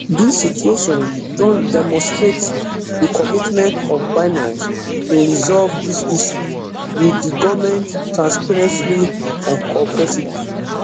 dis situation don demonstrate di commitment of binance to resolve dis issue wit di goment transparently and cooperatively